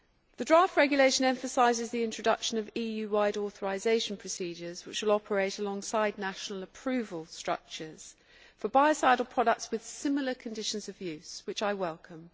The draft regulation emphasises the introduction of EU wide authorisation procedures which should operate alongside national approval structures for biocidal products with similar conditions of use, which I welcome.